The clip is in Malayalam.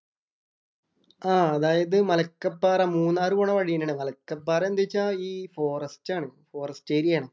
ആഹ് അതായത് മലക്കപ്പാറ. മൂന്നാർ പോണ വഴി തന്നെയാണ്. മലക്കപ്പാറ എന്ത് വെച്ചാ ഈ ഫോറസ്റ്റ് ആണ്. ഫോറസ്റ്റ് ഏരിയ ആണ്.